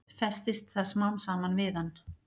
Festist það smám saman við hann.